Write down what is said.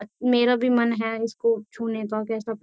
मेरा भी मन है इसको छूने का कैसा --